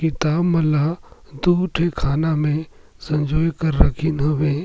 किताब मन ल दुई ठो खाना मे सँजोये के रखे हवे।